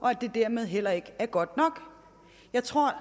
og at det dermed heller ikke er godt nok jeg tror